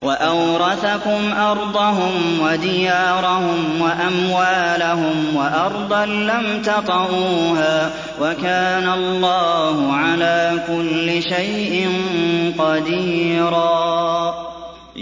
وَأَوْرَثَكُمْ أَرْضَهُمْ وَدِيَارَهُمْ وَأَمْوَالَهُمْ وَأَرْضًا لَّمْ تَطَئُوهَا ۚ وَكَانَ اللَّهُ عَلَىٰ كُلِّ شَيْءٍ قَدِيرًا